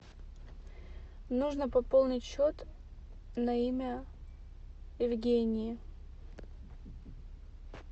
нужно пополнить счет на имя евгении